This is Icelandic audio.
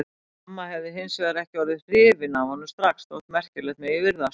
Amma hefði hins vegar ekki orðið hrifin af honum strax, Þótt merkilegt megi virðast